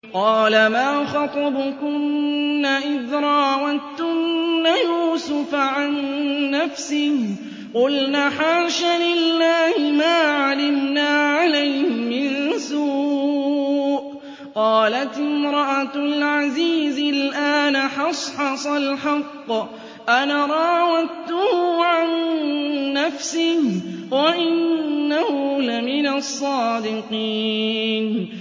قَالَ مَا خَطْبُكُنَّ إِذْ رَاوَدتُّنَّ يُوسُفَ عَن نَّفْسِهِ ۚ قُلْنَ حَاشَ لِلَّهِ مَا عَلِمْنَا عَلَيْهِ مِن سُوءٍ ۚ قَالَتِ امْرَأَتُ الْعَزِيزِ الْآنَ حَصْحَصَ الْحَقُّ أَنَا رَاوَدتُّهُ عَن نَّفْسِهِ وَإِنَّهُ لَمِنَ الصَّادِقِينَ